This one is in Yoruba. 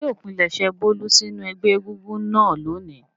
Ṣé wọn yóò pilẹ̀sẹ̀ Bólú sínú ẹgbẹ́ egúngún náà lónìí?